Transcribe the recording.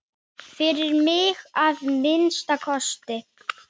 Fyrir mig, að minnsta kosti.